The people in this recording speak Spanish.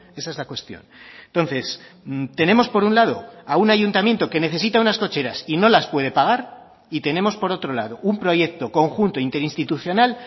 esa es la cuestión entonces tenemos por un lado a un ayuntamiento que necesita unas cocheras y no las puede pagar y tenemos por otro lado un proyecto conjunto interinstitucional